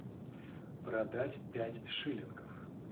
продать пять шиллингов